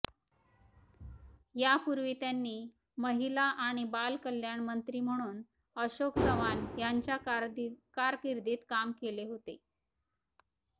यापूर्वी त्यांनी महिला आणि बाल कल्याण मंत्री म्हणून अशोक चव्हाण यांच्या कारकीर्दीत काम केले होते